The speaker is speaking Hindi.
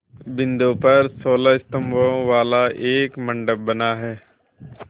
बिंदु पर सोलह स्तंभों वाला एक मंडप बना है